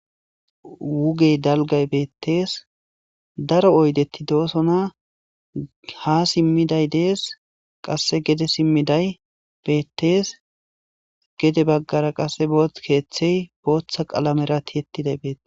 Wuge dalggay beettes daro oydeti doosona. Ha simmiday dees, qasse gede simmiday beettes. Gede baggara qasse booththi keeththey booththa qalamera tiyetiday beettes.